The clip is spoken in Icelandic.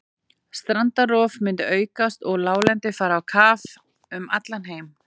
Strandrof myndi aukast og láglendi fara á kaf um allan heim.